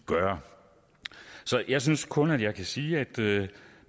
gøre så jeg synes kun jeg kan sige at det